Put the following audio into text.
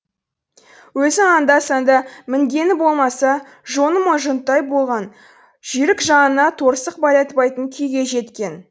өзі анда санда мінгені болмаса жонымы жұнттай болған жүйрік жанына торсық байлатпайтын күйге жеткен